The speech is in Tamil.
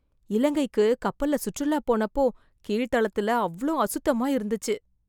இலங்கைக்கு கப்பல்ல சுற்றுலா போனப்போ, கீழ் தளத்துல அவ்ளோ அசுத்தமா இருந்துச்சு...